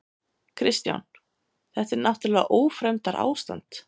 Kristján: Þetta er náttúrlega ófremdarástand?